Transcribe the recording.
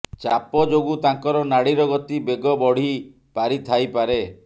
ଚାପ ଯୋଗୁଁ ତାଙ୍କର ନାଡ଼ୀର ଗତି ବେଗ ବଢ଼ି ପାରି ଥାଇ ପାରେ